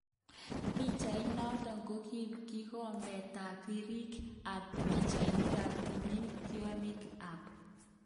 Pichait noton kokiib kikobet tab biriik kap pichainik ab timin tiokyik ka